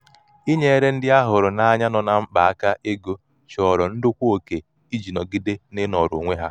inyere ndị a hụrụ n'anya nọ na mkpa aka ego chọrọ ndokwa oke iji nọgide n'inọrọ onwe ha.